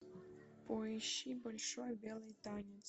поищи большой белый танец